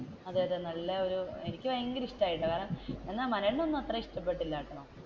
അതെ അതെ നല്ലയൊരു എനിക്ക് ഭയങ്കര ഇഷ്ടമായിട്ടോ കാരണം